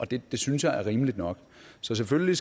det synes jeg er rimeligt nok så selvfølgelig